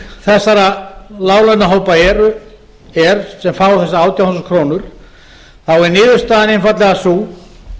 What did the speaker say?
þessara láglaunahópa er sem fá þessar átján þúsund krónur þá er niðurstaðan einfaldlega sú